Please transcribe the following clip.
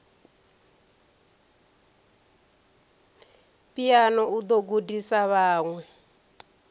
phiano o ḓo gudisa vhaṅwe